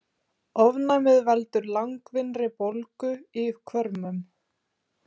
Ofnæmið veldur langvinnri bólgu í hvörmum.